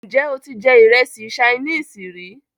Ǹjẹ́ o ti jẹ ìrẹsì sainíìsì rí?